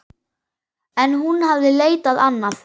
En hún hafði leitað annað.